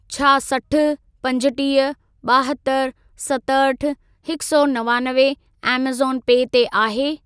छा सठि, पंजटीह, ॿाहतरि, सतहठि, हिकु सौ नवानवे ऐमज़ॉन पे ते आहे?